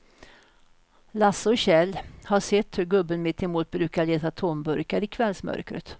Lasse och Kjell har sett hur gubben mittemot brukar leta tomburkar i kvällsmörkret.